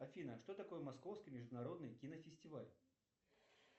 афина что такое московский международный кинофестиваль